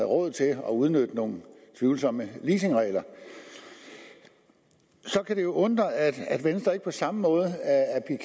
råd til at udnytte nogle tvivlsomme leasingregler så kan det jo undre at venstre ikke på samme måde